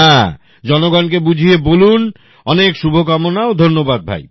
হ্যাঁ জনগণকে বুঝিয়ে বলুন অনেক শুভকামনা ও ধন্যবাদ ভাই